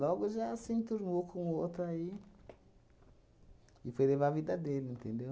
Logo já se entornou com o outra aí e foi levar a vida dele, entendeu?